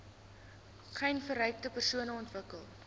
geinfekteerde persone ontwikkel